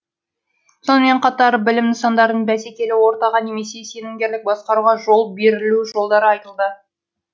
сонымен қатар білім нысандарын бәсекелі ортаға немесе сенімгерлік басқаруға жол берілу жолдары айтылды